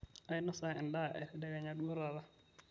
ainosa endaa e tedekenya duo taata